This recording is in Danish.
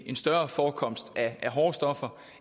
en større forekomst af hårde stoffer